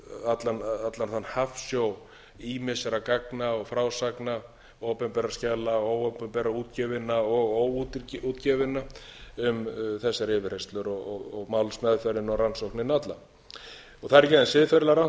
allan þann hafsjó ýmissa gagna og frásagna opinberra skjala óopinberra útgefinna og óútgefinna um þessar yfirheyrslur og málsmeðferðina og rannsóknina alla það er ekki aðeins siðferðislega rangt